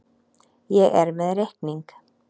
Ég er með reikning.